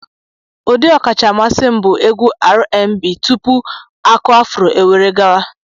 Ụdị ọkacha mmasị m bụ egwu Rnb tupu Aku-afuro eweghara.